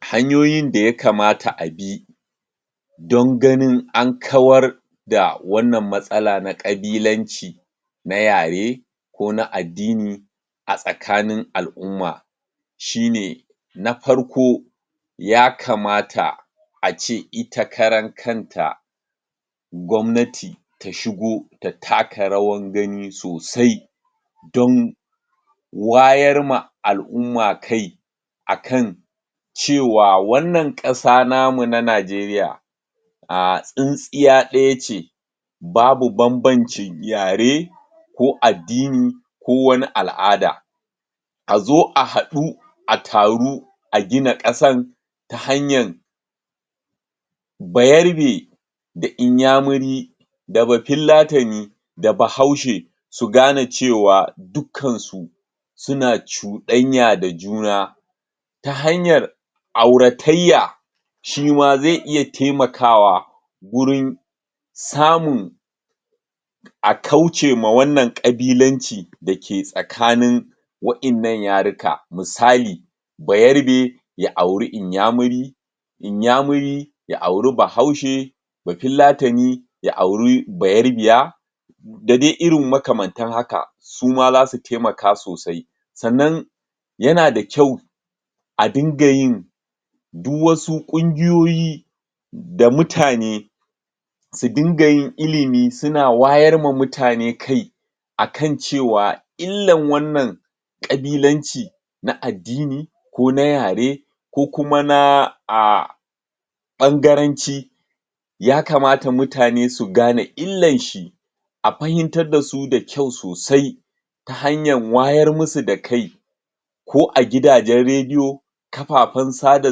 Hanyoyin da ya kamata a bi don ganin an kawar da wannan matsala na kabilanci na yare ko na addini a tsakanin al'umma shine na farko ya kamata a ce ita karan kanta gwabanati ta shigo ta taka rawan gani sosai don wayar ma al'umma kai a kan cewa wannan ƙasa namu na najeriya ahh, tsintsiya daya ce babu banbancin yare ko addini ko wani al'ada azo a haɗu a taru a gina kasan ta hanyar bayarbe, da inyamuri da bafillatani, da bahaushe suna gane cewa dukansu suna cuɗanya da juna ta hanyar auratayya shima ze iya taimakawa gurin samun a kauce ma wannan kabilanci da ke tsakanin wa innan yarukan, misali bayarbe ya auri inyamuri, inyamuri ya auri bahaushe bafillani ya auri bayarbiya da dai irin makwan suma zasu taimaka sosai sannan yana da kyau a dinga yin duk wasu ƙungiyoyi da mutane su dinga yin ilimi suna wayar wa mutane kai akan cewa illan wannan ƙabilanci na addini ko na yare ko kuma na ahh ɓangaranci ya kamata mutane su gane illanshi a fahimtar dasu da kyau sosai ta hanyar wayar musu da kai ko a gidajen rediyo kafafen yaɗa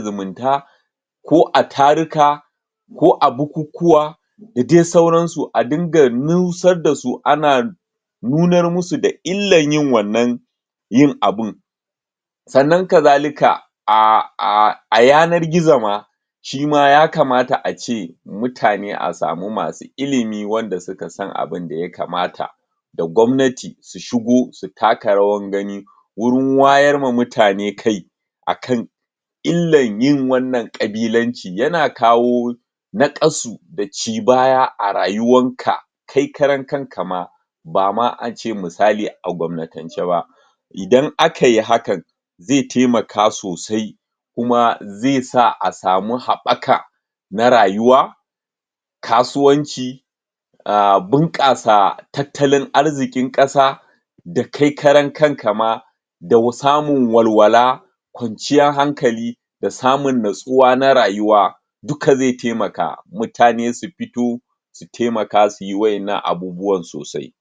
zumunta ko a taruka ko a bukukuwa da dai sauransu, a dinga nusar dasu ana nunar musu da illan yin wannan yin abun sannan kazalika ah ah a yanar gizo ma shima ya kamata ace mutane a samu masu ilimi wanda suka san abinda ya kama da gwabnati su shigo su taka rawar gani wurin wayar ma mutane kai akan illan yin wannan ƙabilanci, yana kawo naƙasu da ci baya a rayuwanka kai karan kanka ma bama ace misali, a gwabnatance ba idan akai hakan ze temaka sosai kuma ze sa a samu haɓaka na rayuwa kasuwanci ahh, bunƙasa tattalin arzikin kasa da kai karan kanka ma da samun walwala kwanciyan hankali da samun nutsuwa na rayuwa duka ze temaka mutane su fito su temaka suyi wa innan abubuwan sosai